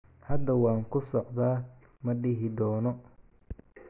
Hadda waan ku socdaa, ma daahi doono.